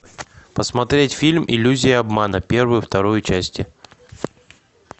посмотреть фильм иллюзия обмана первую вторую части